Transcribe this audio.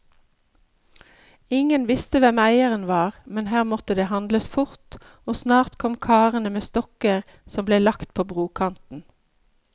Ingen visste hvem eieren var, men her måtte det handles fort, og snart kom karene med stokker som ble lagt på brokanten.